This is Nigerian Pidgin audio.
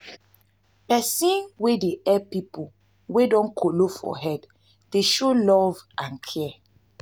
pesin wey dey help pipo wey don kolo for head dey show love and care.